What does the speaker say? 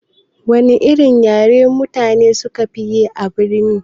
Wana irin yare mutane sukafi yi a birni?